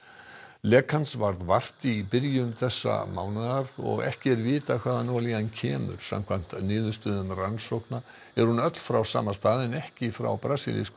lekans varð vart í byrjun þessa mánaðar og ekki er vitað hvaðan olían kemur samkvæmt niðurstöðum rannsókna er hún öll frá sama stað en ekki frá brasilískum